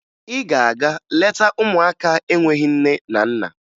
Ị ga-aga leta ụmụaka enweghi nne na nna